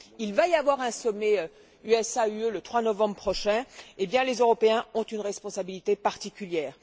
Il va y avoir un sommet USA UE, le 3 novembre prochain, et les Européens ont une responsabilité particulière.